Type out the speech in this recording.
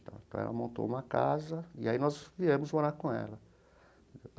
Então, ela montou uma casa e aí nós viemos morar com ela.